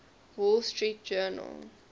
wall street journal